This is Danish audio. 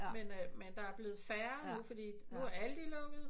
Men øh der er blevet færre fordi nu er Aldi lukket